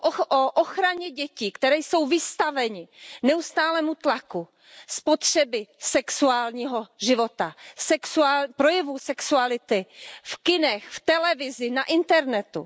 O ochraně dětí, které jsou vystaveny neustálému tlaku spotřeby sexuálního života, projevů sexuality v kinech, v televizi, na internetu.